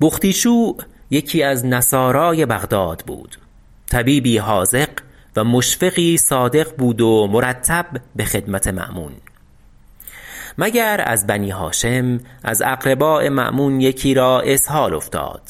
بختیشوع یکی از نصارای بغداد بود طبیبی حاذق و مشفقی صادق بود و مرتب به خدمت مأمون مگر از بنی هاشم از اقرباء مأمون یکی را اسهال افتاد